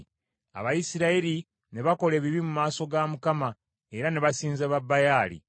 Abayisirayiri ne bakola ebibi mu maaso ga Mukama era ne basinza Babayaali.